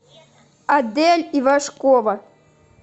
адель ивашкова